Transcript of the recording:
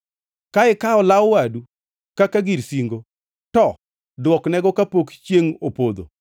Ka ikawo law wadu kaka gir singo, to duoknego kapok chiengʼ opodho,